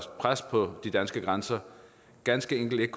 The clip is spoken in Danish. pres på de danske grænser ganske enkelt ikke